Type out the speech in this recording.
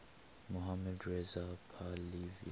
mohammad reza pahlavi